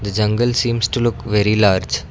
the jungle seems to look very large.